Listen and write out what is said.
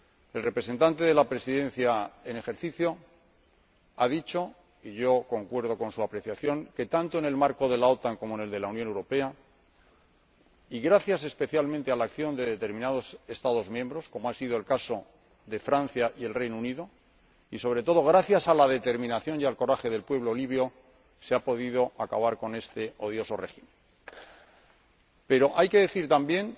El representante de la Presidencia en ejercicio ha dicho —y concuerdo con su apreciación— que tanto en el marco de la OTAN como en el de la Unión Europea, gracias especialmente a la acción de determinados Estados miembros —como ha sido el caso de Francia y del Reino Unido— y, sobre todo, gracias a la determinación y al coraje del pueblo libio, se ha podido acabar con este odioso régimen. Pero hay que decir también